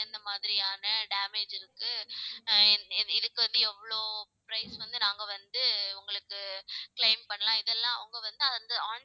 என்ன மாதிரியான damage இருக்கு, ஆஹ் இ~ இதுக்கு வந்து எவ்வளவு price வந்து நாங்க வந்து உங்களுக்கு claim பண்ணலாம் இதெல்லாம் அவங்க வந்து